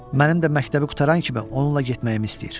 Mənim də məktəbi qurtaran kimi onunla getməyimi istəyir.